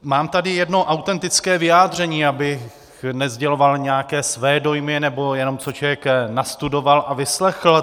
Mám tady jedno autentické vyjádření, abych nesděloval nějaké své dojmy, nebo jenom co člověk nastudoval a vyslechl.